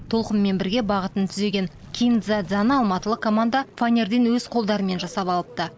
толқынмен бірге бағытын түзеген кин дза дзаны алматылық команда фанерден өз қолдарымен жасап алыпты